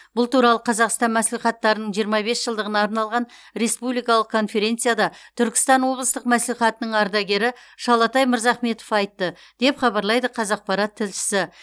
бұл туралы қазақстан мәслихаттарының жиырма бес жылдығына арналған республикалық конференцияда түркістан облыстық мәслихатының ардагері шалатай мырзахметов айтты деп хабарлайды қазақпарат тілшісі